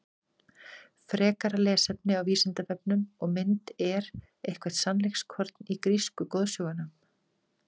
Frekara lesefni á Vísindavefnum og mynd Er eitthvert sannleikskorn í grísku goðsögunum?